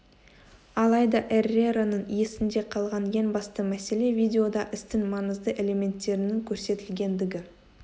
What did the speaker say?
алайда эрерраның есінде қалған ең басты мәселе видеода істің маңызды элементтерінің көрсетілгендігі